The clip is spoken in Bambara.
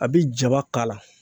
A bi jaba k'a la